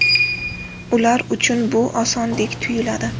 Ular uchun bu osondek tuyuladi.